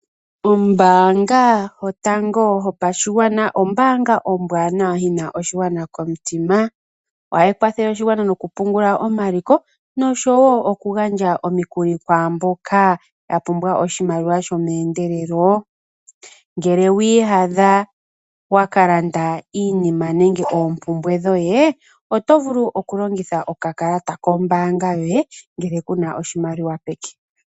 Oombaanga yotango yopashigwana ombaanga ombwaanawa yina oshigwana komutima. Ohayi kwathele oshigwana noku pungula omaliko noshowo oku gandja omikuli kwaamboka yapumbwa oshimaliwa shomeendelelo, ngele wiiyadha wa kalanda iinima nenge oompumbwe dhoye oto vulu oku longitha okakalata kombaanga yoye ngele kuna oshimaliwa peke.